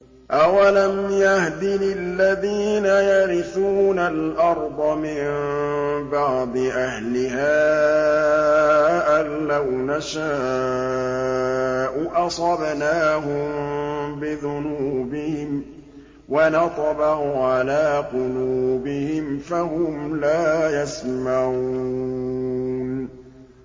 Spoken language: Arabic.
أَوَلَمْ يَهْدِ لِلَّذِينَ يَرِثُونَ الْأَرْضَ مِن بَعْدِ أَهْلِهَا أَن لَّوْ نَشَاءُ أَصَبْنَاهُم بِذُنُوبِهِمْ ۚ وَنَطْبَعُ عَلَىٰ قُلُوبِهِمْ فَهُمْ لَا يَسْمَعُونَ